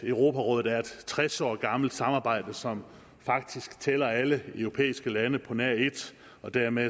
europarådet er et tres år gammelt samarbejde som faktisk tæller alle europæiske lande på nær et og dermed